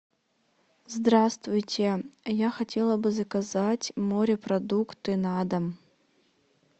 здравствуйте я хотела бы заказать морепродукты на дом